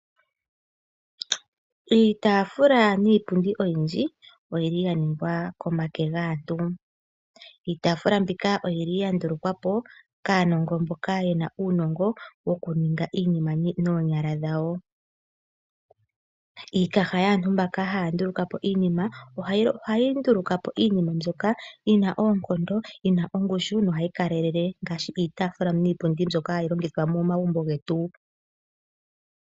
Iitaafula niipundi oyindji oya ningwa kaantu nomake. Iitaafula mbika oya ndulukwa po kaanongo mboka ye na uunongo wokuninga iinima noonyala dhawo. Iikaha yaantu mboka haya nduluka po iinima ohayi nduluka po iinima mbyoka yi na oonkondo, yi na ongushu nohayi kalelele ngaashi iipundi niitaafula mbyoka hayi longithwa momagumbo getu.